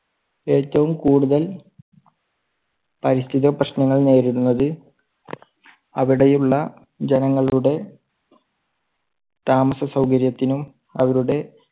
ഏറ്റവും കൂടുതൽ പരിസ്ഥിതി പ്രശ്നങ്ങൾ നേരിടുന്നത് അവിടെ ഉള്ള ജനങ്ങളുടെ താമസ സൗകര്യത്തിനും അവരുടെ